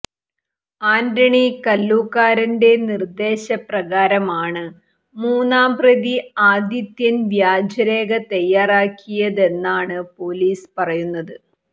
ആന്റണി കല്ലൂക്കാരന്റെ നിർദ്ദേശപ്രകാരമാണ് മൂന്നാം പ്രതി ആദിത്യൻ വ്യാജരേഖ തയ്യാറാക്കിയതെന്നാണ് പൊലീസ് പറയുന്നത്